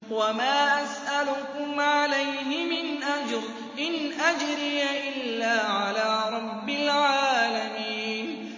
وَمَا أَسْأَلُكُمْ عَلَيْهِ مِنْ أَجْرٍ ۖ إِنْ أَجْرِيَ إِلَّا عَلَىٰ رَبِّ الْعَالَمِينَ